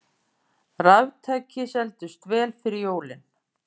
Raftæki seldust vel fyrir jólin